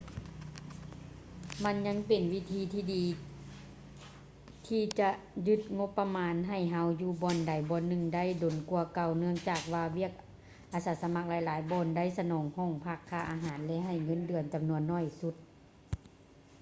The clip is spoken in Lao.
ມັນຍັງເປັນວິທີທີ່ດີທີ່ຈະຍືດງົບປະມານໃຫ້ເຮົາຢູ່ບ່ອນໃດບ່ອນໜຶ່ງໄດ້ດົນກວ່າເກົ່າ ເນື່ອງຈາກວ່າວຽກອາມາສະໝັກຫຼາຍໆບ່ອນໄດ້ສະໜອງຫ້ອງພັກ ຄ່າອາຫານ ແລະ ໃຫ້ເງິນເດືອນຈຳນວນໜ້ອຍໜຶ່ງ